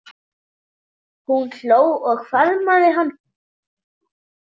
Hún hló og faðmaði hann.